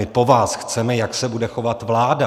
My po vás chceme, jak se bude chovat vláda.